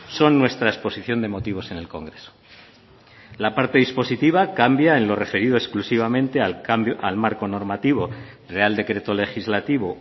son nuestra exposición de motivos en el congreso la parte dispositiva cambia en lo referido exclusivamente al marco normativo real decreto legislativo